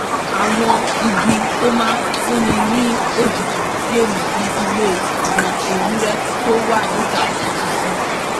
àwọn igi tó máa fúnni ní òjìji lè mú kí ilé àwọn ewúrẹ́ tó wà níta tútù sí